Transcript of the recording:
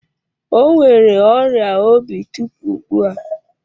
O nwere ọrịa obi tupu ugbu a.